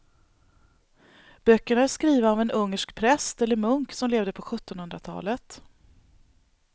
Böckerna är skrivna av en ungersk präst eller munk som levde på sjuttonhundratalet.